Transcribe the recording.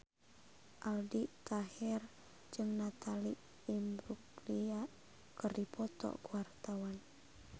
Aldi Taher jeung Natalie Imbruglia keur dipoto ku wartawan